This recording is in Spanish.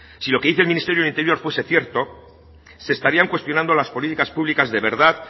si lo que dice el ministerio del interior fuese cierto se estarían cuestionando las políticas públicas de verdad